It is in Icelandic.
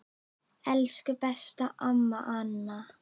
Elsku besta amma Anna.